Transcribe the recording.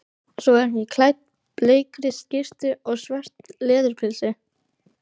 Svo er hún klædd bleikri skyrtu og svörtu leðurpilsi.